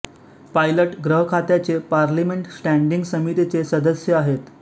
pilot ग्रह खात्याचे parliament standing समितीचे सदस्य आहेत